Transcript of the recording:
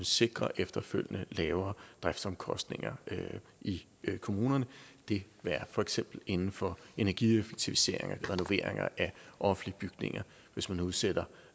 sikre efterfølgende lavere driftsomkostninger i kommunerne det er for eksempel inden for energieffektiviseringer renoveringer af offentlige bygninger hvis man udsætter